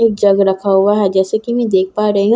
एक जग रखा हुआ है जैसे कि मैं देख पा रही हूं।